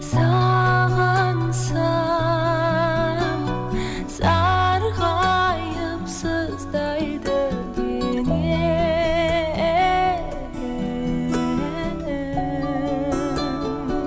сағынсам сарғайып сыздайды дене